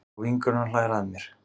Og vinkonan hlær að mér.